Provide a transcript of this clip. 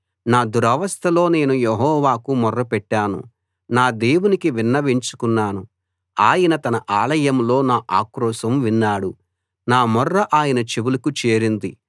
నా దురవస్థలో నేను యెహోవాకు మొర్ర పెట్టాను నా దేవునికి విన్నవించుకున్నాను ఆయన తన ఆలయంలో నా ఆక్రోశం విన్నాడు నా మొర్ర ఆయన చెవులకు చేరింది